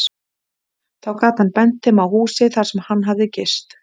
Þó gat hann bent þeim á húsið, þar sem hann hafði gist.